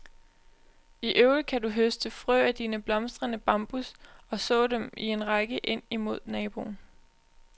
I øvrigt kan du høste frø af dine blomstrende bambus og så dem i en række ind imod naboen.